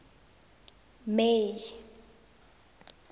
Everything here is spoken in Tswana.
may